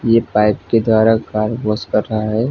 यह पाइप की द्वारा कार वॉश कर रहा है।